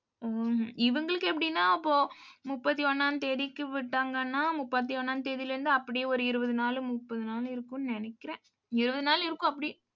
இவங்களுக்கு எப்படின்னா, அப்போ முப்பத்தி ஒண்ணாம் தேதிக்கு விட்டாங்கன்னா முப்பத்தி ஒண்ணாம் தேதியிலே இருந்து அப்படியே ஒரு இருபது நாளு முப்பது நாளு இருக்கும்னு நினைக்கிறேன். இருபது நாள் இருக்கும் அப்படி.